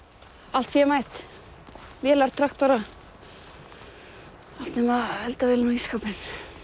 allt fémætt vélar traktora allt nema eldavélar og ísskápinn